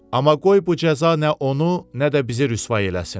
Amma qoy bu cəza nə onu, nə də bizi rüsvay eləsin.